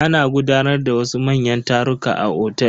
Ana gudanar da wasu manyan taruka a otel.